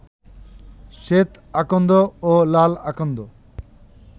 শ্বেত আকন্দ ও লাল আকন্দ